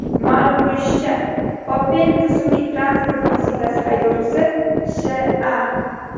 Ma’lum bo‘lishicha, Opel rusumli transport vositasi haydovchisi Sh.A.